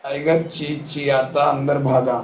tiger चिंचिंयाता अंदर भागा